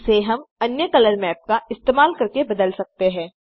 इसे हम अन्य कलर मैप का इस्तेमाल करके बदल सकते हैं